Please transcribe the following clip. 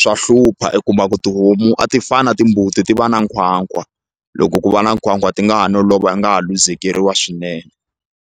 swa hlupha i kuma ku tihomu a ti fani na timbuti ti va na nkhwankhwa loko ku va na nkhwankhwa ti nga ha no lova nga ha luzekeriwa swinene.